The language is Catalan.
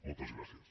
moltes gràcies